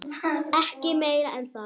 Ekki meira en það.